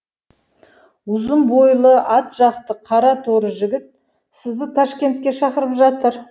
ұзын бойлы ат жақты қара торы жігіт сізді ташкентке шақырып жатыр